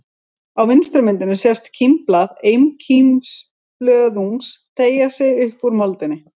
Á vinstri myndinni sést kímblað einkímblöðungs teygja sig upp úr moldinni.